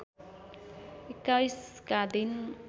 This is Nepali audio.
२१ का दिन